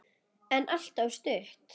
En alltof stutt.